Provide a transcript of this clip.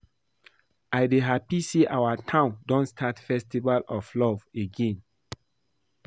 I dey happy say our town don start festival of love again